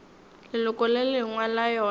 leloko le lengwe la yona